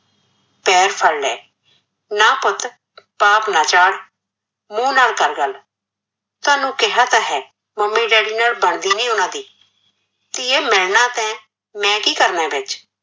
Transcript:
ਪੈਰ ਫੜ ਲਏ, ਨਾਂ ਪੁੱਤ ਪਾਪ ਨਾਂ ਚਾੜ, ਮੂੰਹ ਨਾਲ ਕਰ ਗੱਲ, ਤਾਨੁ ਕਿਹਾ ਤਾਂ ਹੈ mummy daddy ਬਣਦੀ ਨੀ ਓਨਾ ਦੀ, ਧੀਏ ਮੈਂ ਨਾਂ ਤੈਂ ਮੈਂ ਕੀ ਕਰਨਾ ਵਿੱਚ,